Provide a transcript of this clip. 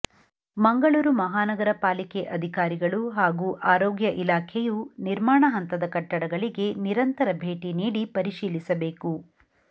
ಮಂಗಳೂರು ಮಹಾನಗರ ಪಾಲಿಕೆ ಅಧಿಕಾರಿಗಳು ಹಾಗೂ ಆರೋಗ್ಯ ಇಲಾಖೆಯು ನಿರ್ಮಾಣ ಹಂತದ ಕಟ್ಟಡಗಳಿಗೆ ನಿರಂತರ ಭೇಟಿ ನೀಡಿ ಪರಿಶೀಲಿಸಬೇಕು